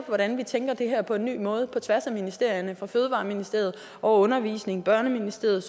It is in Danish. hvordan vi tænker det her på en ny måde på tværs af ministerierne fra fødevareministeriet over undervisningsministeriet